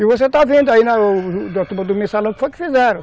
E você está vendo aí na turma do mensalão o que foi que fizeram.